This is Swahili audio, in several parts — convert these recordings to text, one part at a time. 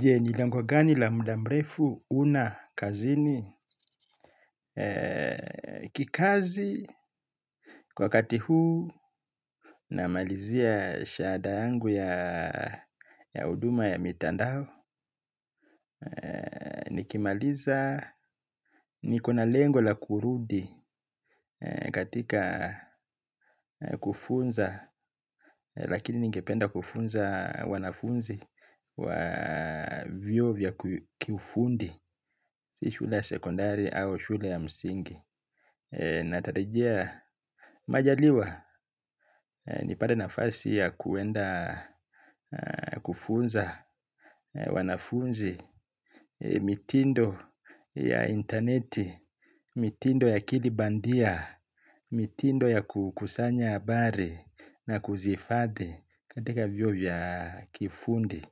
Je, ni lengo gani la muda mrefu huna kazini kikazi wakati huu namalizia shahada yangu ya huduma ya mitandao. Nikimaliza niko na lengo la kurudi katika kufunza, lakini ningependa kufunza wanafunzi wa vioo vya kiufundi. Si shule ya sekondari au shule ya msingi. Natarajia majaliwa. Nipate nafasi ya kuenda kufunza wanafunzi mitindo ya interneti. Mitindo ya akili bandia. Mitindo ya kukusanya habari na kuzihifadhi katika vyoo ya kifundi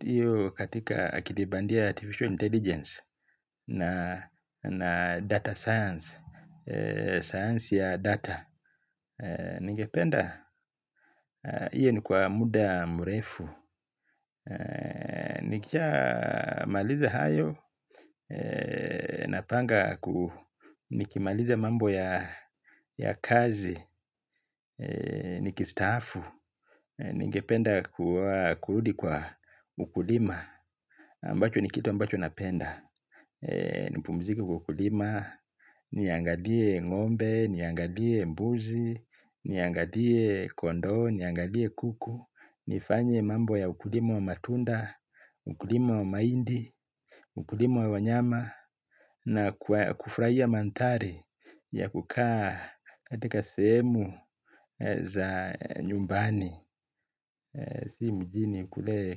hiyo katika akilibandia artificial intelligence na data science, sayansi ya data. Ningependa, hiyo ni kwa muda mrefu. Nikishamaliza hayo, napanga ku nikimaliza mambo ya kazi, nikistaafu. Ningependa kurudi kwa ukulima, ambacho ni kitu ambacho napenda. Nipumzike kwa kulima. Niangalie ngombe. Niangalie mbuzi. Niangalie kondoo. Niangalie kuku. Nifanye mambo ya ukulima wa matunda. Ukulima wa mahindi. Ukulima wa wanyama na kufurahia mandhari ya kukaa katika sehemu za nyumbani. Si mjini kule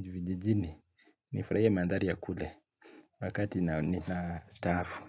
vijijini. Nifurahie mandhari ya kule wakati na staafu.